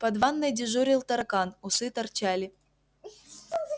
под ванной дежурил таракан усы торчали